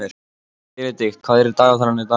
Benedikt, hvað er í dagatalinu í dag?